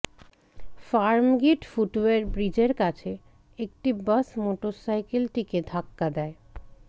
Farmgate foot over ব্রিজের কাছে একটি বাস মোটরসাইকেলটিকে ধাক্কা দেয়